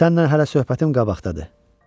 Sənlə hələ söhbətim qabaqdadır.